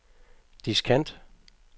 diskant